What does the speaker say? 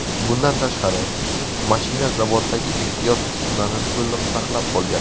Bundan tashqari, mashina zavoddagi ehtiyot qismlarini to‘liq saqlab qolgan.